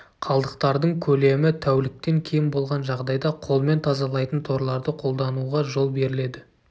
қалдықтардың көлемі тәуліктен кем болған жағдайда қолмен тазалайтын торларды қолдануға жол беріледі